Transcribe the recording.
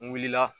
N wulila